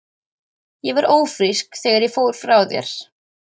Ég var ófrísk þegar ég fór frá þér.